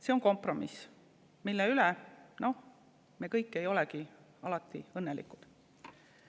See on kompromiss, mille üle me kõik ei olegi alati õnnelikud.